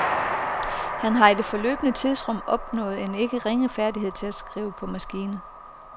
Han har i det forløbne tidsrum opnået en ikke ringe færdighed i at skrive på maskine.